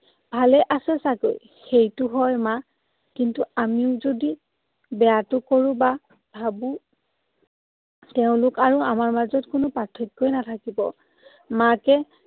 ভালে আছে চাগে। সেইটো হয় মা। কিন্তু আমিও যদি বেয়াটো কৰোঁ বা ভাবো, তেওঁলোক আৰু আমাৰ মাজত কোনো পাৰ্থক্যই নাথাকিব। মাকে